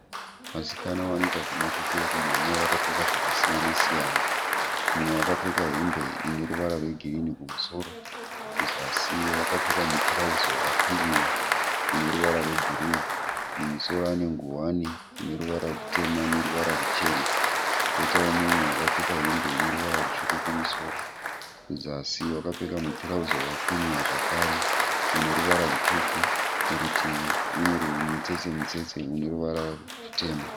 Vasikana vanoita zvemakwikwi ekumhanya vakapfeka zvakasiyana siyana, mumwe akapfeka hembe ine ruvara rwegirini kumusoro kuzasi wakapfeka mutirauzi wakakwinyiwa une ruvara rwebhuruu mumusoro akapfeka ngowani ine ruvara rutema neruvara ruchena koitawo mumwe wakapfeka hembe ine ruvara rutsvuku kumusoro kuzasi wakapfeka mutirauzi wakakwinyiwa zvakare une ruvara rutsvuku murutivi mune mitsetse mitsetse ine ruvara rutema.